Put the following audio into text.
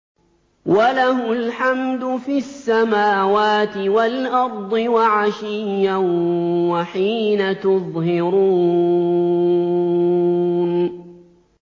وَلَهُ الْحَمْدُ فِي السَّمَاوَاتِ وَالْأَرْضِ وَعَشِيًّا وَحِينَ تُظْهِرُونَ